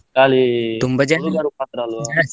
ಖಾಲಿ ಹುಡುಗರು ಮಾತ್ರ ಅಲ್ವಾ?